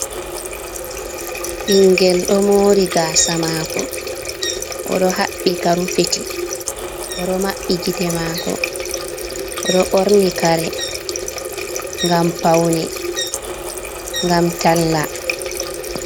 Ɓingel ɗo mori gaasa maako, o ɗo haɓɓi ka rufiti. O ɗo maɓɓi gite maako. O ɗo ɓorni kare ngam paune, ngam talla.